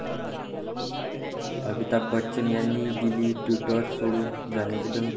अमिताभ बच्चन यांनी दिली ट्विटर सोडून जाण्याची धमकी!